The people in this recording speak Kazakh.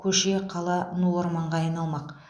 көше қала ну орманға айналмақ